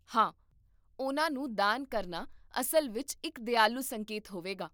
ਹਾਂ, ਉਹਨਾਂ ਨੂੰ ਦਾਨ ਕਰਨਾ ਅਸਲ ਵਿੱਚ ਇੱਕ ਦਿਆਲੂ ਸੰਕੇਤ ਹੋਵੇਗਾ